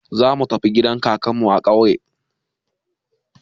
Zamu tafi gidan kakanmu a ƙauye.